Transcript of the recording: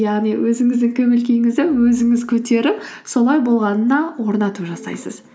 яғни өзіңіздің көңіл күйіңізді өзіңіз көтеріп солай болғанына орнату жасайсыз